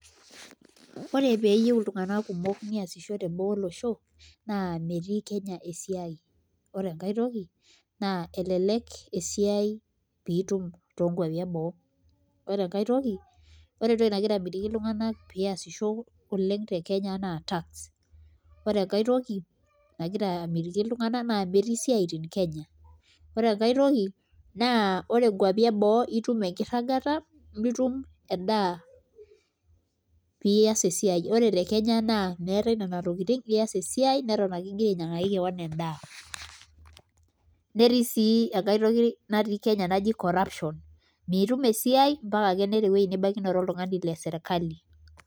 Ore pee eyieu iltunganak kumok neesishore boo olosho naa metii Kenya esiai ore enkai toki naa elelek esiai pee itum toonkuapi eboo ore enkae toki nagira amitiki iltunganak pee eesisho te Kenya naa naa tax ore enkae toki nagira amitiki iltunganak naa metii isiaitin Kenya ore enkae toki naa ore nkuapi eboo naa itum enkirragata nitum endaa pee iaas esiai ore te Kenya mitum nena tokitin iaas esiai neton ake igira ainyiang'aki kewon endaa.